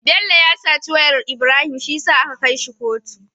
Bello ya saci wayar Ibrahim shiyasa aka kai shi kotu